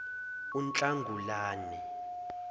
unhlangulane